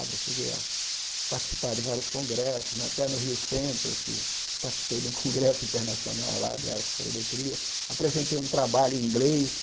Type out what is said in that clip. eu cheguei a participar de vários congressos né, até no Rio Centro eu fiz eu participei de um congresso internacional lá de aerofotogrametria, apresentei um trabalho em inglês,